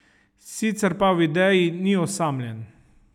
Sicer pa v ideji ni osamljen.